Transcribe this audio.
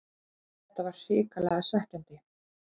Þetta var hrikalega svekkjandi